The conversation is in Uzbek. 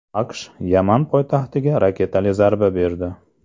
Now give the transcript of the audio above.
AQSh Yaman poytaxtiga raketali zarba berdi.